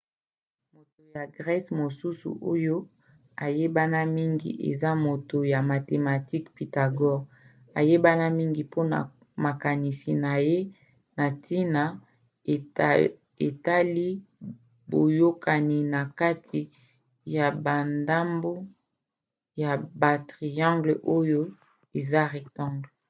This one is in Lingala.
moto ya grece mosusu oyo ayebana mingi eza moto ya mathematique pythagore ayebana mingi mpona makanisi na ye na ntina etali boyokani na kati ya bandambo ya batriangles oyo eza rectangle